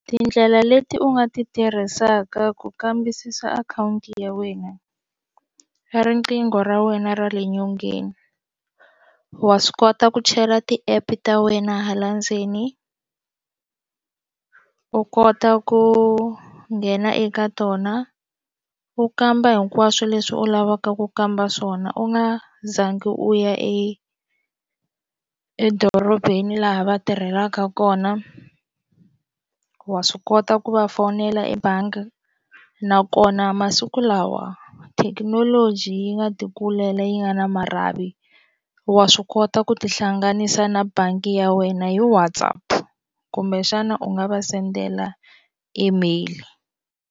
Tindlela leti u nga ti tirhisaka ku kambisisa akhawunti ya wena i riqingho ra wena ra le nyongeni wa swi kota ku chela ti-app ta wena hala ndzeni u kota ku nghena eka tona u kamba hinkwaswo leswi u lavaka ku kamba swona u nga zangi u ya e edorobeni laha va tirhelaka kona wa swi kota ku va fowunela ebangi nakona masiku lawa thekinoloji yi nga ti kulela yi nga na marhavi wa swi kota ku tihlanganisa na bangi ya wena hi WhatsApp kumbe xana u nga va sendela email.